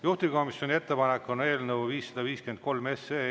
Juhtivkomisjoni ettepanek on eelnõu 553 esimene lugemine lõpetada.